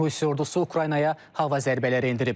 Rusiya ordusu Ukraynaya hava zərbələri endirib.